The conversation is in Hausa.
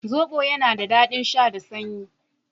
Zobo yana da daɗin sha da sanyi.